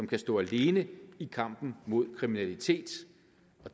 kan stå alene i kampen mod kriminalitet